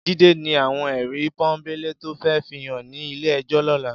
Jide ni àwón èrí pònbélé tó fè fihán ni ilé èjò lòlá